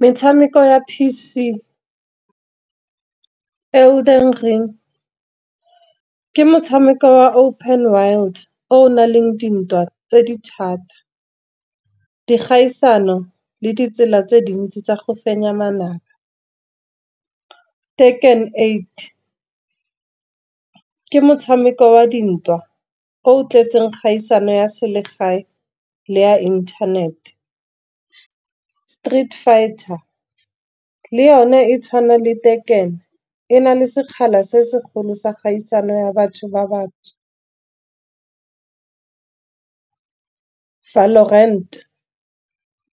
Metshameko ya P_C e o ke motshameko wa open world, o na leng dintwa tse di thata. Di kgaisano le ditsela tse dintsi tsa go fenya manaba, take and eight ke motshameko wa dintwa o tlwaetseng kgaisano ya selegae, le ya internet. Street fighter le yone e tshwana le tekeno e na le sekgala se segolo sa kgaisano ya batho ba ba ntsho. Foulorent